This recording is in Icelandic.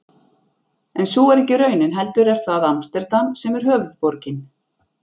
En sú er ekki raunin heldur er það Amsterdam sem er höfuðborgin.